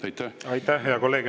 Aitäh, hea kolleeg!